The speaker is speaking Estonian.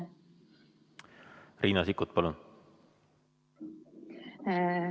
Riina Sikkut, palun!